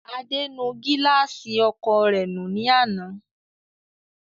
Adé nu gíláàsì ọkọ̀o rẹ̀ nù ní àná.